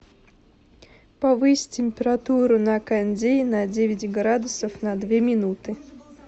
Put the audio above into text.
повысь температуру на кондее на девять градусов на две минуты